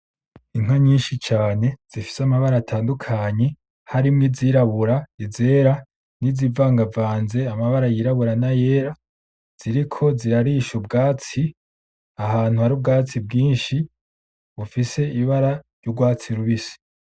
Inka nyinshi cane zifise amabara atandukanye harimwo izirabura, izera n'izivangavanze amabara yirabura n'ayera ziriko zirarisha ubwatsi ahantu hari ubwatsi bwinshi bufise ibara ry'urwatsi rubisi.